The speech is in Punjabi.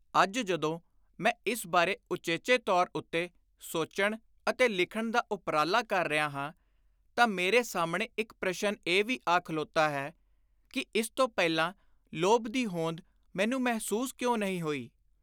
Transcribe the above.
ਅੱਜ ਜਦੋਂ ਮੈਂ ਇਸ ਬਾਰੇ ਉਚੇਚੇ ਤੌਰ ਉੱਤੇ ਸੋਚਣ ਅਤੇ ਲਿਖਣ ਦਾ ਉਪਰਾਲਾ ਕਰ ਰਿਹਾ ਹਾਂ ਤਾਂ ਮੇਰੇ ਸਾਹਮਣੇ ਇਕ ਪ੍ਰਸ਼ਨ ਇਹ ਵੀ ਆ ਖਲੋਤਾ ਹੈ ਕਿ ਇਸ ਤੋਂ ਪਹਿਲਾਂ ਲੋਭ ਦੀ ਹੋਂਦ ਮੈਨੂੰ ਮਹਿਸੁਸ ਕਿਉਂ ਨਹੀਂ ਹੋਈ।